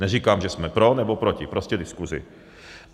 Neříkám, že jsme pro nebo proti, prostě diskuzi.